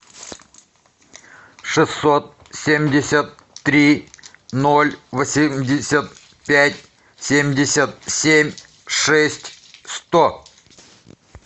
шестьсот семьдесят три ноль восемьдесят пять семьдесят семь шесть сто